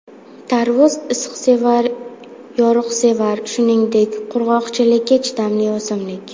Tarvuz issiqsevar, yoruqsevar, shuningdek, qurg‘oqchilikka chidamli o‘simlik.